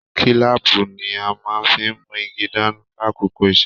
Kílàápú ní a fí n mú igi dání l'akoko iṣẹ.